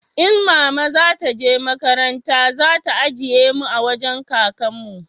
in mama za ta je makaranta za ta ajiye mu a wajen kakan mu